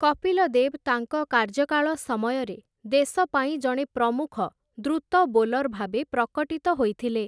କପିଲ ଦେବ୍‌ ତାଙ୍କ କାର୍ଯ୍ୟକାଳ ସମୟରେ ଦେଶପାଇଁ ଜଣେ ପ୍ରମୁଖ ଦ୍ରୁତ ବୋଲର ଭାବେ ପ୍ରକଟିତ ହୋଇଥିଲେ ।